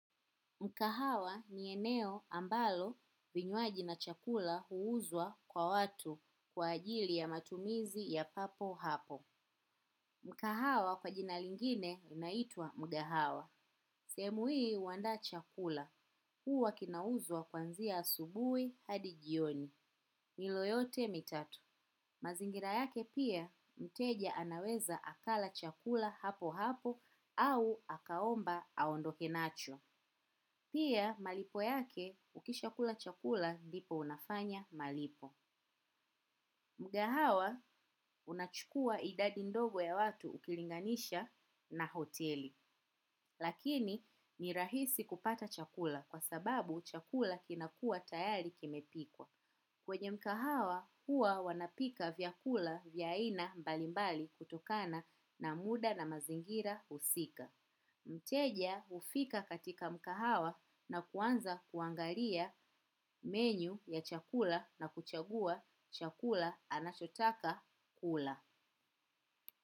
Mkahawa ni eneo ambalo vinywaji na chakula huuzwa kwa watu kwa ajili ya matumizi ya papo hapo. Mkahawa kwa jina lingine unaitwa mugahawa. Sehemu hii huandaa chakula. Huwa kinauzwa kuanzia asubuhi hadi jioni. Milo yote mitatu. Mazingira yake pia, mteja anaweza akala chakula hapo hapo au akaomba aondoke nacho. Pia malipo yake, ukishakula chakula ndipo unafanya malipo. Mgahawa unachukua idadi ndogo ya watu ukilinganisha na hoteli. Lakini ni rahisi kupata chakula kwa sababu chakula kinakuwa tayari kimepikwa. Kwenye mkahawa, huwa wanapika vyakula vya aina mbalimbali kutokana na muda na mazingira husika. Mteja hufika katika mkahawa na kuanza kuangalia menyu ya chakula na kuchagua chakula anachotaka kula.